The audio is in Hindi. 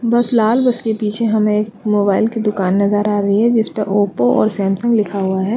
बस लाल बस के पीछे हमे एक मोबाइल की दुकान नज़र आ रही है जिसपे ओप्पो और सैमसंग लिखा हुआ है।